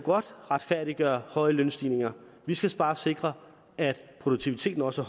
retfærdiggøre høje lønstigninger vi skal bare sikre at produktiviteten også